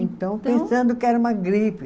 Então, pensando que era uma gripe.